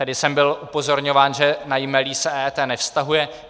Tedy jsem byl upozorňován, že na jmelí se EET nevztahuje.